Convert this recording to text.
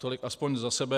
Tolik aspoň za sebe.